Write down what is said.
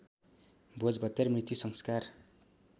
भोजभतेर मृत्यु संस्कार